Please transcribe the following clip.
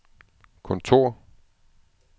kontor